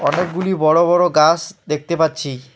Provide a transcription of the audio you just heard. অনেকগুলি বড় বড় গাছ দেখতে পাচ্ছি।